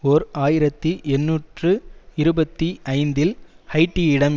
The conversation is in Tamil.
ஓர் ஆயிரத்தி எண்ணூற்று இருபத்தி ஐந்தில் ஹைய்ட்டியிடம்